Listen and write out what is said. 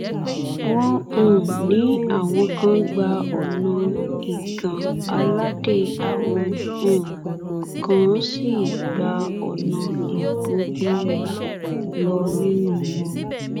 wọn um ní àwọn kan gba ọnà igan aládé àwọn um kan sì gba ọnà ìgbógunlá lọ nínú wọn